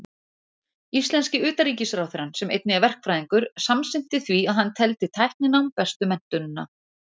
Íslenski utanríkisráðherrann, sem einnig er verkfræðingur, samsinnti því að hann teldi tækninám bestu menntunina.